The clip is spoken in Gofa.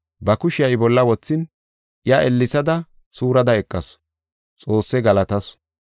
Ba kushiya I bolla wothin, iya ellesada, suurada eqasu. Xoosse galatasu.